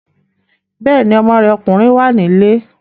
Bẹ́ẹ̀ni, ọmọ rẹ̀ ọkùnrin wà nílé